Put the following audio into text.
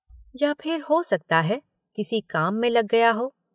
या फिर हो सकता है, किसी काम में लग गया हो।